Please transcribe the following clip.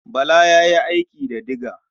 Bala ya yi aiki da diga.